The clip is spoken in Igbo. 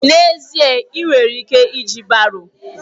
N'ezie èè! ị nwere ike iji baro.